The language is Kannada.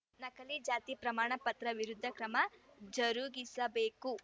ನಕಲಿ ಜಾತಿ ಪ್ರಮಾಣ ಪತ್ರದ ವಿರುದ್ಧ ಕ್ರಮ ಜರುಗಿಸಬೇಕು